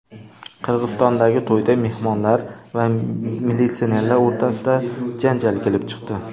Qirg‘izistondagi to‘yda mehmonlar va militsionerlar o‘rtasida janjal kelib chiqdi .